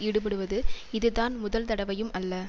ஈடுபடுவது இதுதான் முதல் தடவையும் அல்ல